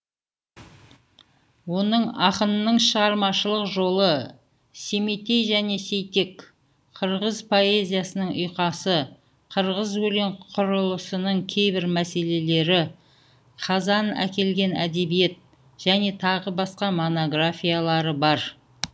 оның ақынның шығармашылық жолы семетей және сейтек қырғыз поэзясының ұйқасы қырғыз өлең құрылысының кейбір мәселелері қазан әкелген әдебиет және тағы басқа монографиялары бар